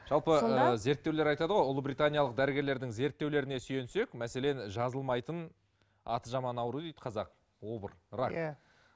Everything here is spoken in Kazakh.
жалпы ыыы зерттеулер айтады ғой ұлыбританиялық дәрігерлердің зерттеулеріне сүйенсек мәселен жазылмайтын аты жаман ауру дейді қазақ обыр рак иә